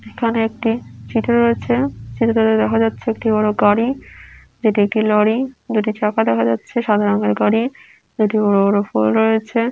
এখানে একটি চিত্র রয়েছে চিত্রটিতে দেখা যাচ্ছে একটি বড়ো গাড়ি এটি একটি লরি যেটির চাকা দেখা যাচ্ছে সাদা রঙের গাড়ি দুটি বড়ো বড়ো পোল রয়েছে।